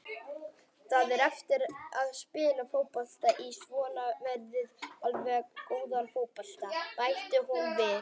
Það er erfitt að spila fótbolta í svona veðri, allavega góðan fótbolta, bætti hún við.